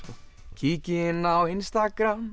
kíki inn á